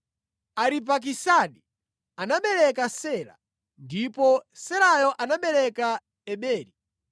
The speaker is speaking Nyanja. Aripakisadi anabereka Sela, ndipo Selayo anabereka Eberi.